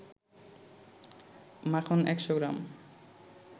মাখন ১০০ গ্রাম